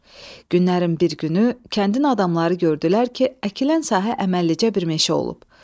Günlərin bir günü kəndin adamları gördülər ki, əkilən sahə əməllilicə bir meşə olub.